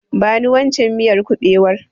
Bani waccen miyar kuɓewar.